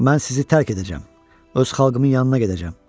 Mən sizi tərk edəcəm, öz xalqımın yanına gedəcəm.